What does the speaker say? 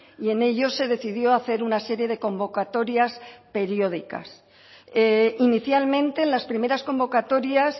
y en ellos se decidió hacer una serie de convocatorias periódicas inicialmente las primeras convocatorias